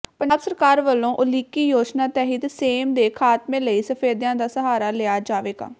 ਪੰਜਾਬ ਸਰਕਾਰ ਵੱਲੋਂ ਉਲੀਕੀ ਯੋਜਨਾ ਤਹਿਤ ਸੇਮ ਦੇ ਖਾਤਮੇ ਲਈ ਸਫੈਦਿਆਂ ਦਾ ਸਹਾਰਾ ਲਿਆ ਜਾਵੇਗਾ